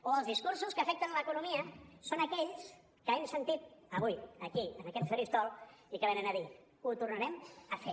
o els discursos que afecten l’economia són aquells que hem sentit avui aquí en aquest faristol i que venen a dir ho tornarem a fer